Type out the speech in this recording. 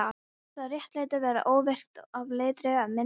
Það réttlæti væri óvirkt ef aldrei væri á það minnt.